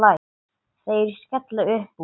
Þeir skella upp úr.